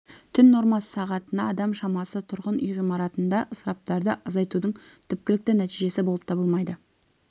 түн нормасы сағатына адам шамасы тұрғын үй ғимаратында ысыраптарды азайтудың түпкілікті нәтижесі болып табылмайды